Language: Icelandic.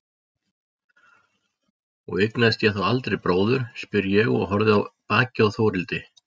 Og eignast ég þá aldrei bróður, spyr ég og horfi á bakið á Þórhildi.